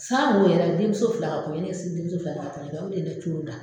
Sanko yɛrɛ denmuso fila ka kɔɲɔn ne ye denmuso fila ka kɔɲɔn kɛ o de ye ne coron tan.